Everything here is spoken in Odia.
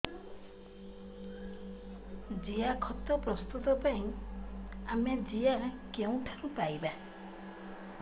ଜିଆଖତ ପ୍ରସ୍ତୁତ ପାଇଁ ଆମେ ଜିଆ କେଉଁଠାରୁ ପାଈବା